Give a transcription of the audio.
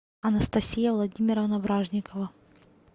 анастасия владимировна вражникова